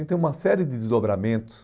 Então, uma série de desdobramentos